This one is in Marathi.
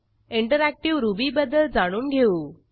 इंटरऍक्टीव्ह रुबीबद्दल जाणून घेऊ